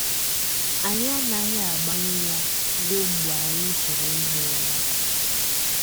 Anyị anaghị agbanyụ ya ruo mgbe anyị chọrọ ihi ụra. ”